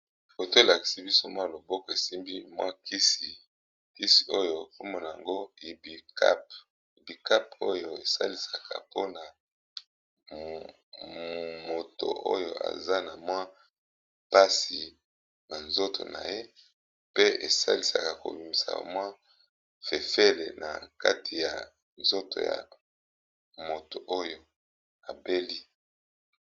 Foto elakisi biso mwa loboko esimbi mwa kisi kisi oyo kombo na ngo ibikap ibikap oyo esalisaka mpona moto oyo aza na mwa mpasi na nzoto na ye pe esalisaka kobimisa mwa fefele na kati ya nzoto ya moto oyo abeli.